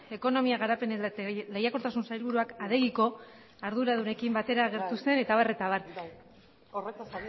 ekonomia garapen eta lehiakortasuneko sailburuak adegiko arduradunekin batera agertu zelako eta abar horretaz ari naiz ez zara horretaz